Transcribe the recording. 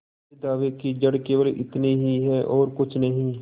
इस दावे की जड़ केवल इतनी ही है और कुछ नहीं